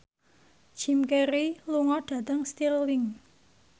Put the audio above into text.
Jim Carey lunga dhateng Stirling